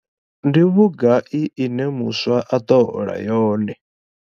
Ndi vhugai ine muswa a ḓo hola yone?